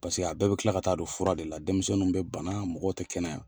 Paseke a bɛɛ bɛ kila ka taa don fura de la denmisɛnninw bɛ bana mɔgɔw tɛ kɛnɛya.